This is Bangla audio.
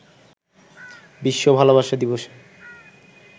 বিশ্ব ভালোবাসা দিবসে